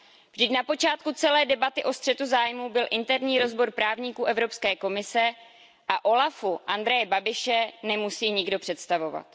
Vždyť na počátku celé debaty o střetu zájmu byl interní rozbor právníků Evropské komise a úřadu OLAF Andreje Babiše nemusí nikdo představovat.